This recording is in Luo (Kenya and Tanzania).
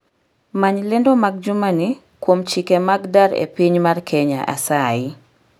Many lendo mag jumani kuom chike mag dar epiny mar kenya asayi